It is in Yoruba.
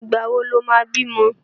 Ìgbà wo lo ma bímọ?